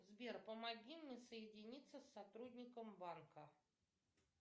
сбер помоги мне соединиться с сотрудником банка